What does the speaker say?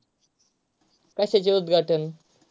कशाचे उद्घाटन.